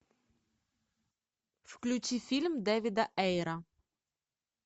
включи фильм дэвида эйра